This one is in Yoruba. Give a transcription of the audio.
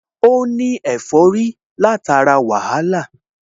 Ó ní ẹ̀fọ́rí látara wàhálà